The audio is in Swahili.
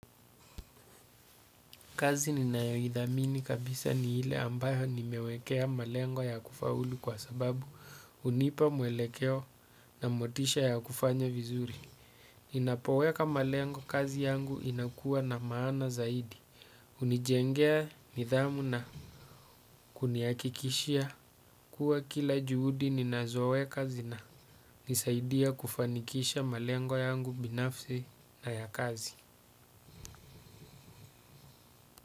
Kazi ninayoidhamini kabisa ni ile ambayo nimewekea malengo ya kufaulu kwa sababu hunipa mwelekeo na motisha ya kufanya vizuri. Ninapoweka malengo kazi yangu inakua na maana zaidi. Hunijengea nidhamu na kunihakikishia kuwa kila juhudi ninazoweka zinanisaidia kufanikisha malengo yangu binafsi na ya kazi.